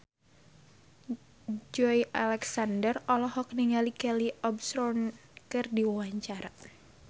Joey Alexander olohok ningali Kelly Osbourne keur diwawancara